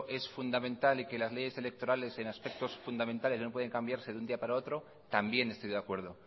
es fundamental y que las leyes electorales en aspectos fundamentales no pueden cambiarse de un día para otro también estoy de acuerdo